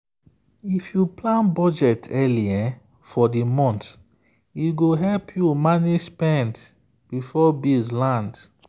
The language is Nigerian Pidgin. if you plan budget early for the month e go help you manage spend before bills land.